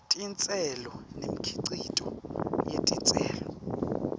titselo nemikhicito yetitselo